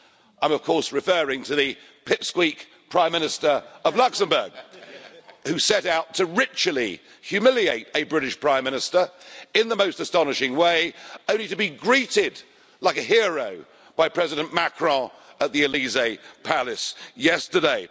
I am, of course, referring to the pipsqueak Prime Minister of Luxembourg, who set out to ritually humiliate a British Prime Minister in the most astonishing way, only to be greeted like a hero by President Macron at the Elysée Palace yesterday.